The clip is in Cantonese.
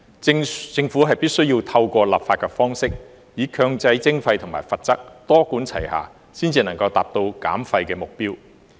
政府必須透過立法的方式，以強制徵費和罰則，多管齊下，才能達到減廢的目標。